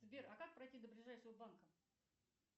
сбер а как пройти до ближайшего банка